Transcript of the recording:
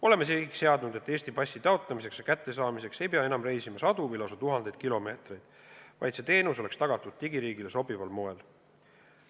Oleme sihiks seadnud, et Eesti passi taotlemiseks ja kättesaamiseks ei pea enam reisima sadu või lausa tuhandeid kilomeetreid, vaid teenus oleks tagatud digiriigile sobival moel.